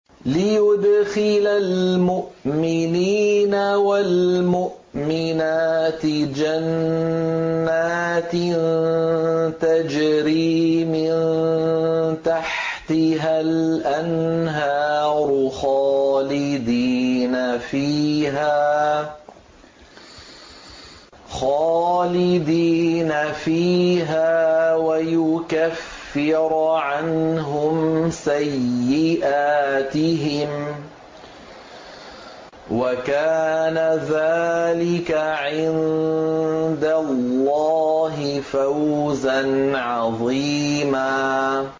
لِّيُدْخِلَ الْمُؤْمِنِينَ وَالْمُؤْمِنَاتِ جَنَّاتٍ تَجْرِي مِن تَحْتِهَا الْأَنْهَارُ خَالِدِينَ فِيهَا وَيُكَفِّرَ عَنْهُمْ سَيِّئَاتِهِمْ ۚ وَكَانَ ذَٰلِكَ عِندَ اللَّهِ فَوْزًا عَظِيمًا